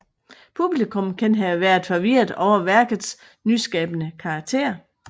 Publikum kan have været forvirret over værkets nyskabende karakter